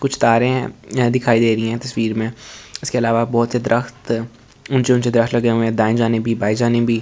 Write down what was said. कुछ तारे दिखाई दे रही है तस्वीर में इसके अलावा बहुत से तर्क्त ऊचे ऊचे तर्क्त लगे है दाए जाने भी बाए जाने भी और--